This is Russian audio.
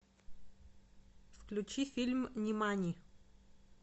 включи фильм нимани